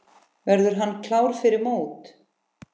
Verður hann klár fyrir mót?